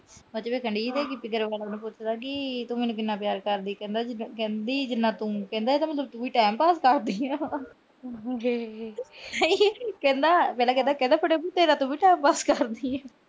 ਉਹਦੇ ਚ ਕਹਿਣ ਡਈ ਪਈ ਸੀ, ਗਿੱਪੀ ਗਰੇਵਾਲ ਉਹਨੂੰ ਪੁੱਛਦਾ ਕਿ ਤੂੰ ਮੈਨੂੰ ਕਿੰਨਾ ਪਿਆਰ ਕਰਦੀ। ਕਹਿੰਦਾ ਅਹ ਕਹਿੰਦੀ ਜਿੰਨਾ ਤੂੰ। ਕਹਿੰਦਾ ਇਹਦਾ ਮਤਲਬ ਤੂੰ ਵੀ time pass ਕਰਦੀ ਆ। ਕਹਿੰਦਾ ਫਿੱਟੇ ਮੂੰਹ ਤੇਰਾ ਤੂੰ ਵੀ time pass ਕਰਦੀ ਆ।